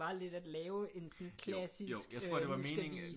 Var lidt at lave sådan en klassisk øh nu skal vi